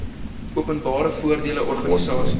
openbare voordele organisasies